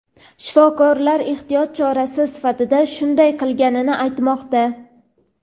Shifokorlar ehtiyot chorasi sifatida shunday qilinganini aytmoqda.